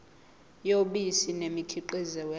yobisi nemikhiqizo yalo